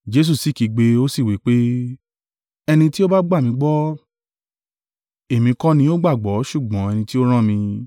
Jesu sì kígbe ó sì wí pé, “Ẹni tí ó bá gbà mí gbọ́, èmi kọ́ ni ó gbàgbọ́ ṣùgbọ́n ẹni tí ó rán mi.